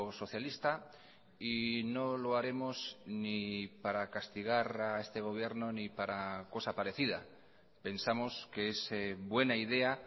socialista y no lo haremos ni para castigar a este gobierno ni para cosa parecida pensamos que es buena idea